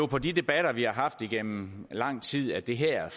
på de debatter vi har haft igennem lang tid at det her